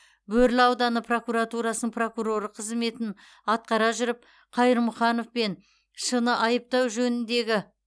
бөрлі ауданы прокуратурасының прокуроры қызметін атқара жүріп қайырмұханов пен ш ны айыптау жөніндегі